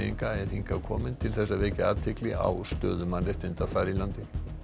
er hingað kominn til þess að vekja athygli á stöðu mannréttinda þar í landi